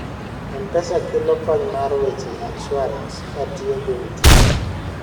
mpesa kelo kony mar weche insuarans katiyogi mtiba